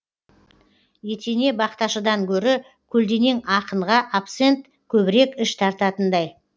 етене бақташыдан гөрі көлденең ақынға абсент көбірек іш тартатындай